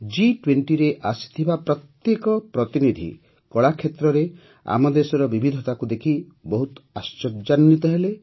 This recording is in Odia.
ଜି୨୦ରେ ଆସିଥିବା ପ୍ରତ୍ୟେକ ପ୍ରତିନିଧି କଳା କ୍ଷେତ୍ରରେ ଆମ ଦେଶର ବିବିଧତାକୁ ଦେଖି ବହୁତ ଆଶ୍ଚର୍ଯ୍ୟାନ୍ୱିତ ହେଲେ